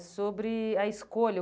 É sobre a escolha.